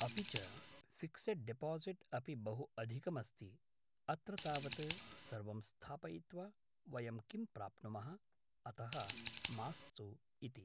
अपि च fixed deposit अपि बहु अधिकमस्ति अत्र तावत् सर्वम् स्थापयित्वा वयं किं प्राप्नुमः अतः मास्तु इति